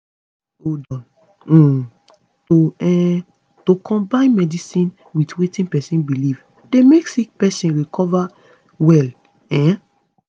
hold on - um to um to combine medicine with wetin pesin belief dey make sick pesin recover well um